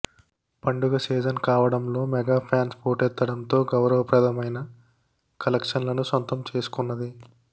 పండుగ సీజన్ కావడంలో mega fans పోటెత్తడంతో గౌరవ ప్రదమైన కలెక్షన్లను సొంతం చేసుకొన్నది